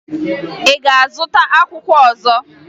Ị ga-azụta akwụkwọ ọzọ?